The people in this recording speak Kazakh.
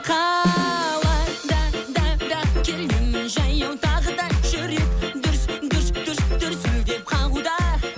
қалада да да келемін жаяу тағыда жүрек дүрс дүрс дүрс дүрсілдеп қағуда